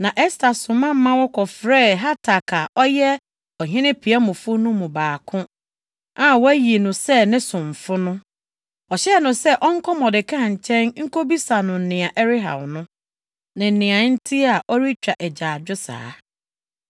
Na Ɛster soma ma wɔkɔfrɛɛ Hatak a ɔyɛ ɔhene piamfo no mu baako a wɔayi no sɛ ne somfo no. Ɔhyɛɛ no sɛ ɔnkɔ Mordekai nkyɛn nkobisa no nea ɛrehaw no, ne nea enti a ɔretwa agyaadwo saa.